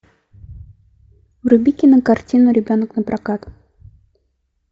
вруби кинокартину ребенок напрокат